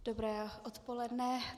Dobré odpoledne.